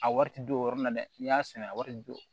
A wari ti don o yɔrɔ nin na dɛ n'i y'a sɛnɛ a wari bi jɔ